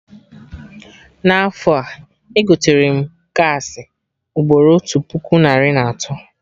Na afọ a, egoterem gaasị ugboro otu puku narị na atọ